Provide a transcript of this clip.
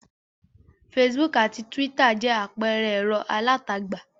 Facebook àti Twitter jẹ́ àpẹẹrẹ ẹ̀rọ alátagbà.